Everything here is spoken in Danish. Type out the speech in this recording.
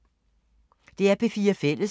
DR P4 Fælles